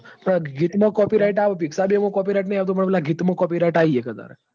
ગીત મો copyright આવતું picsart મો copyright આવ તું નહિ પેલા ગીત મો copyright આ યી જશે તાર